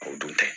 O dun tɛ